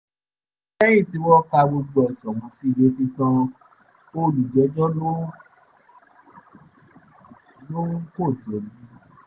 lẹ́yìn tí wọ́n ka gbogbo ẹ̀sùn ọ̀hún sí i létí tán olùjẹ́jọ́ lòun kò jẹ̀bi